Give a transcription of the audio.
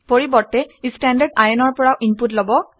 পৰিৱৰ্তে ই standardin ৰ পৰা ইনপুট লব বিচাৰে